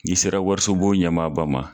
N'i sera warisunbon ɲɛmaaba ma.